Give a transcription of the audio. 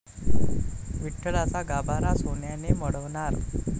विठ्ठलाचा गाभारा सोन्याने मढवणार